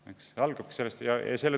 See algabki.